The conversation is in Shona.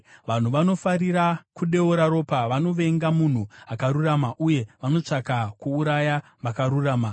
Vanhu vanofarira kudeura ropa vanovenga munhu akarurama, uye vanotsvaka kuuraya vakarurama.